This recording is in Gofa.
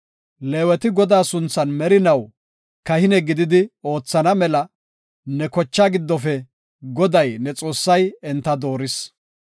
Leeweti Godaa sunthan merinaw kahine gididi oothana mela ne kochaa giddofe Goday, ne Xoossay enta dooris.